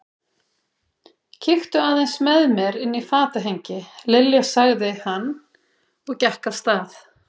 Kíktu aðeins með mér inn í fatahengi, Lilja sagði hann og gekk af stað.